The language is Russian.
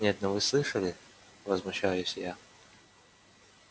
нет ну вы слышали возмущаюсь я